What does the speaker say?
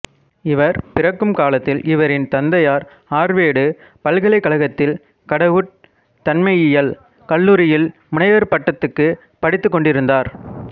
இவர் பிறக்கும் காலத்தில் இவரின் தந்தையார் ஆர்வேடு பல்கலைக்கழகத்தில் கடவுட்தன்மையியல் கல்லூரியில் முனைவர்ப்பட்டத்துக்குப் படித்துக்கொண்டிருந்தார்